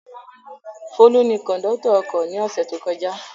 Folú ni kọ̀ńdọ́tọ̀ ọkọ̀ ní ọ̀sẹ̀ tó kọjá.